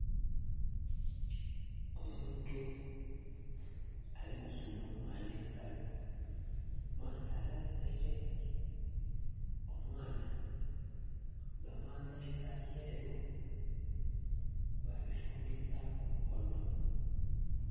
Omuntu alikusuna omwaana engalo mwaana alambere omwaana bamwambeza byeru babifungizaku kumikono